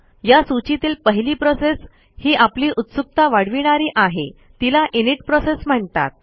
या सूचीतील पहिली प्रोसेस ही आपली उत्सुकता वाढविणारी आहे तिला इनिट प्रोसेस म्हणतात